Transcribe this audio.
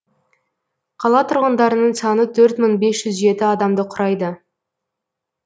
қала тұрғындарының саны төрт мың бес жүз жеті адамды құрайды